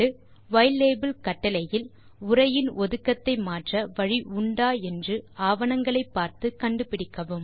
யிலாபெல் கட்டளையில் உரையின் ஒதுக்கத்தை மாற்ற வழி உண்டா என்று ஆவணங்களை பார்த்து கண்டு பிடிக்கவும்